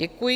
Děkuji.